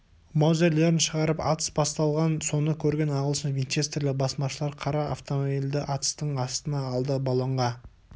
маузерлерін шығарып атыс басталған соны көрген ағылшын винчестерлі басмашылар қара автомобильді атыстың астына алды балонға